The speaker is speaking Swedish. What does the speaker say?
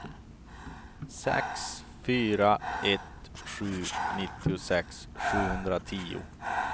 sex fyra ett sju nittiosex sjuhundratio